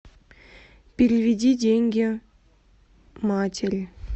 переведи деньги матери